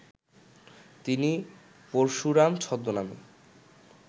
তিনি পরশুরাম ছদ্মনামে